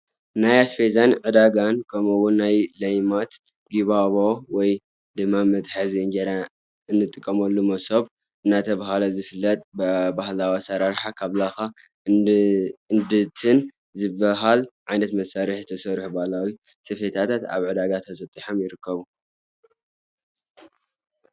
ናይ ኣስቤዛ ዕዳጋን ከምኡ እውን ናይ ለይማት፣ ጊባዎ ወይ ድማ መትሓዚ እንጀራ እንጥቀመሉ መሶብ እውን እንዳተባህለ ዝፍለጥ ብባህላዊ አሰራርሓ ካብ ላካን እድንትን ዝበሃል ዓይነት መሳርሒ ዝተሰርሑ ባህላዊ ስፈታት ኣብ ዕዳጋ ተሰጢሖም ይርከቡ፡፡